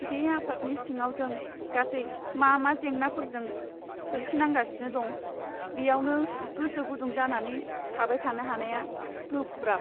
बे आफादनि सिङाव जों गासै मा मा जेंनाफोरजों सोरखिनांगासिनो दं, बेयावनो गोसो गुदुं जानानै थाबाय थानो हानाया गोब्राब।